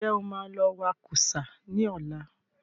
Ǹjẹ́ o má lọ wa kúsá ní ọ̀la?